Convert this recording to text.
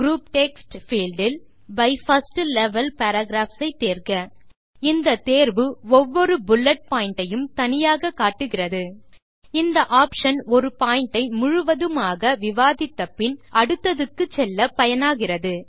group text field இல் by first level paragraphs ஐ தேர்க இந்த தேர்வு ஒவ்வொரு புல்லெட் பாயிண்ட் ஐயும் தனியாக காட்டுகிறது இந்த ஆப்ஷன் ஒரு பாயிண்ட் ஐ முழுவதுமாக விவாதித்தபின் அடுத்ததுக்கு செல்ல பயனாகிறது